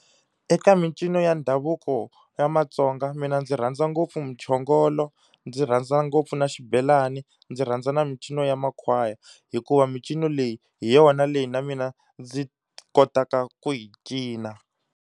Eka mincino ya ndhavuko ya maTsonga mina ndzi rhandza ngopfu muchongolo, ndzi rhandza ngopfu na xibelani, ndzi rhandza na mincino ya makhwaya. Hikuva mincino leyi hi yona leyi na mina ndzi kotaka ku yi cina.